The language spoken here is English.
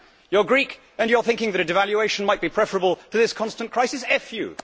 You are Greek and you are thinking that devaluation might be preferable to this constant crisis FU.